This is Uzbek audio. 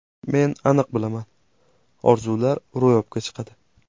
Men aniq bilaman – orzular ro‘yobga chiqadi!